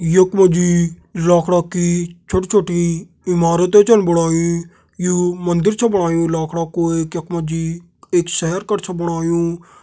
यख मा जी लाकड़ा की छोटी छोटी इमारतें छन बणायीं यू मंदिर छ बणायुं लाखड़ा कू एक यख मा जी एक शहर कर छ बणायुं।